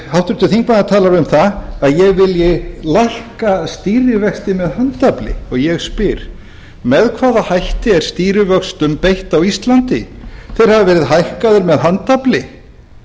háttvirtur þingmaður talar um að ég vilji lækka stýrivexti með handafli og ég spyr með hvaða hætti er stýrivöxtum beitt á íslandi þeir hafa verið hækkaðir með handafli þeir hafa